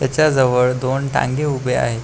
त्याच्या जवळ दोन टांगे उभे आहेत.